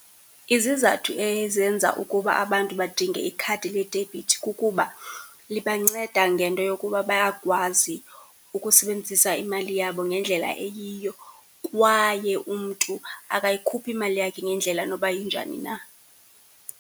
Izizathu ezenza ukuba abantu badinge ikhadi ledebhithi kukuba libanceda ngento yokuba bayakwazi ukusebenzisa imali yabo ngendlela eyiyo kwaye umntu akayikhuphi imali yakhe ngendlela noba injani na.